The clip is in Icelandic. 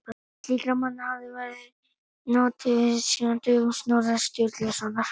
Slíkra manna hefði varla notið við síðan á dögum Snorra Sturlusonar.